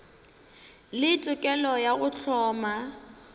le tokelo ya go hloma